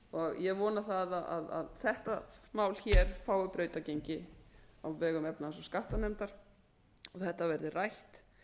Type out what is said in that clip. ég vona að þetta mál hér fái brautargengi á vegum efnahags og skattanefndar og þetta verði rætt